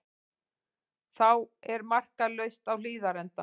Þá er markalaust á Hlíðarenda